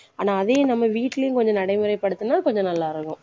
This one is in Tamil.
ஆனா அதையும் நம்ம வீட்டிலேயும் கொஞ்சம் நடைமுறைப்படுத்துனா கொஞ்சம் நல்லாருக்கும்.